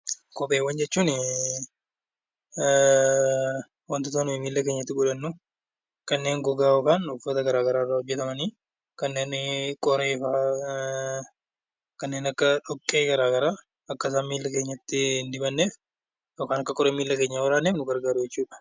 Kopheewwan jechuun wantoota nuyi miilla keenyatti godhannu kanneen gogaa yookaan uffata garaa garaa irraa hojjetamani. Kanneen qoreefa, kanneen akka dhoqqee garaa garaa akka isaan miilla keenyatti hin dibatneef yookaan akka qoreen miilla keenya hin waraanneef nu gargaaru jechuudha.